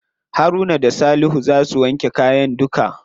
Haruna da salihu za su wanke kayan duka.